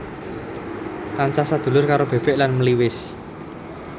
Tansah sadulur karo bebek lan meliwis